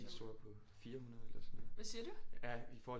De store på 400 eller sådan noget ja i forhold til